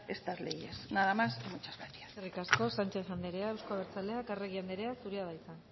estas leyes nada más y muchas gracias eskerrik asko sánchez andrea euzko abertzaleak arregi andrea zurea da hitza